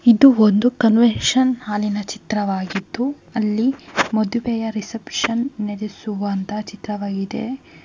ಇದು ಒಂದು ಕನ್ವೆನ್ಷನ್ ಹಾಲಿನ ಚಿತ್ರವಾಗಿದ್ದು ಅಲ್ಲಿ ಮದುವೆಯ ರಿಸೆಪ್ಶನ್ ನಡೆಸುವಂತ ಚಿತ್ರವಾಗಿದೆ .